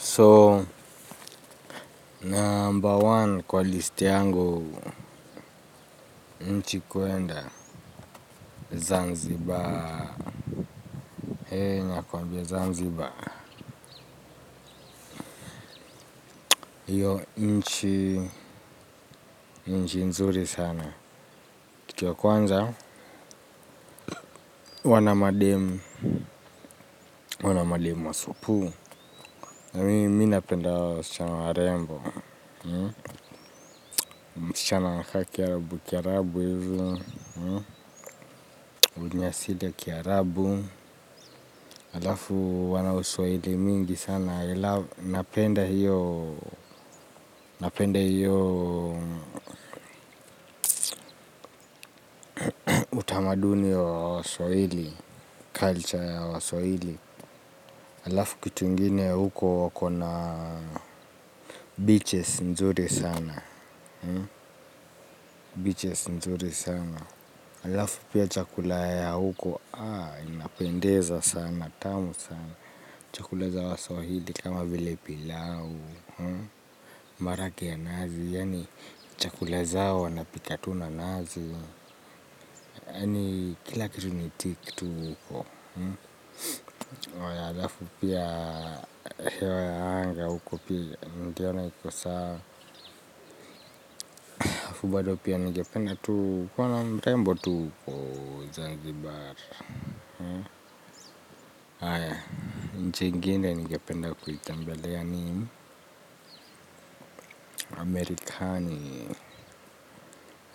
So, number one kwa list yangu, nchi kuenda Zanzibar. He, nakwambia Zanzibar. Hiyo, nchi, nchi nzuri sana. Kitu ya kwanza, huwa na mademu, huwa na mademu wa supu. Mi, mi napenda hao, wasichana warembo. Msichana, anakaa kiarabu, kiarabu hivi, mwenye asili ya kiarabu. Alafu wana uswahili mingi sana. Napenda hiyo utamaduni wa waswahili. Culture ya waswahili. Alafu kitu ingine ya huko wako na beaches nzuri sana. Beaches nzuri sana. Alafu pia chakula ya huko. Napendeza sana tamu sana. Chakula za waswahili kama vile pilau. Marage ya nazi. Yani chakula zao wanapika tu na nazi. Yani kila kitu nitik tu huko na alafu pia hewa ya anga huko pia. Niliona hiko sawa sawa afu bado pia ningependa tu kuwa na mrembo tu huko Zanzibar. Aya, nchi ingine ningependa kuitembelea ni Amerikani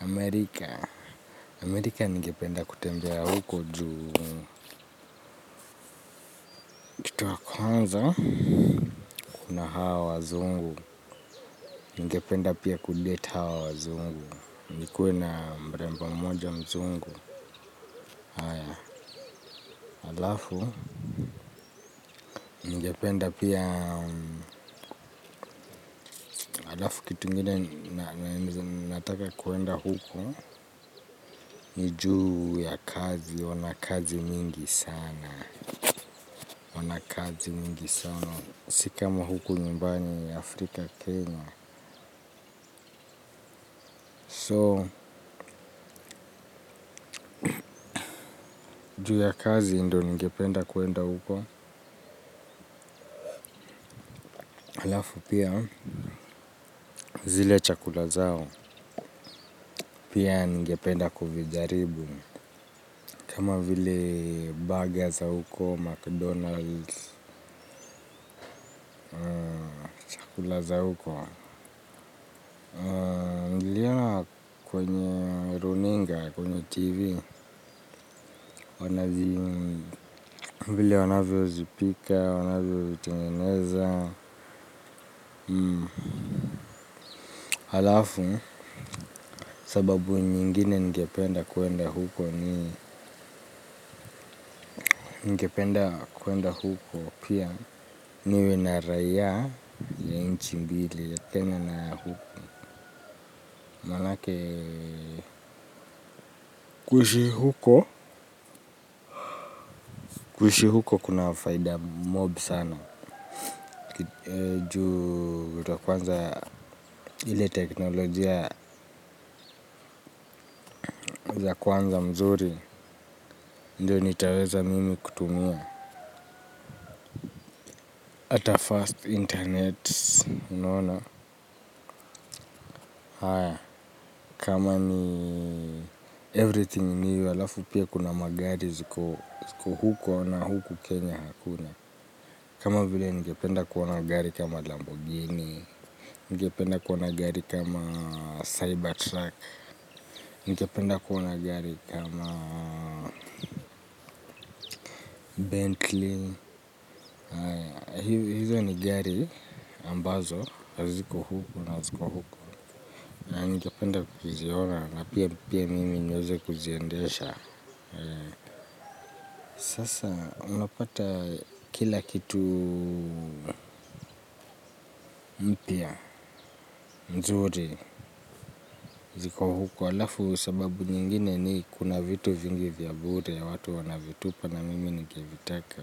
Amerika Amerika ningependa kutembea huko juu. Kitu ya kwanza. Kuna hawa wazungu, ningependa pia kudate hawa wazungu. Nikuwe na mrembo mmoja mzungu. Alafu, ningependa pia, alafu kitu ingine nataka kuenda huku. Ni juu ya kazi, wana kazi mingi sana. Wana kazi mingi sana. Si kama huku nyumbani Afrika Kenya So, ni juu ya kazi ndo ningependa kuenda huko. Halafu pia zile chakula zao pia ningependa kuvijaribu. Kama vile burger za huko, mcdonald's kula za huko. Niliona kwenye runinga, kwenye tv. Wanazi vile wanavyo zipika, wanavyo vitengeneza. Halafu sababu nyingine ningependa kuenda huko ni ningependa kuenda huko pia niwe na raia ya nchi mbili ya kenya na huko. Manake kuishi huko? Kuishi huko kuna faida mob sana. Kitu ya kwanza ile teknolojia za kwanza mzuri ndio nitaweza mimi kutumia. Ata fast internet, unaona? Kama ni everything ni hiyo alafu pia kuna magari ziko huko na huku Kenya hakuna. Kama vile ningependa kuona gari kama Lamborghini, ningependa kuona gari kama Cybertruck, ningependa kuona gari kama Bentley. Hizo ni gari ambazo haziko huku na ziko huko na ningependa kuziona na pia mimi niweze kuziendesha. Sasa unapata kila kitu mpya mzuri ziko huko alafu sababu nyingine ni kuna vitu vingi vya bure ya watu wanavitupa na mimi nikivitaka.